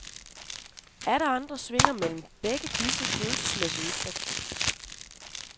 Atter andre svinger mellem begge disse følelsesmæssige udtryk.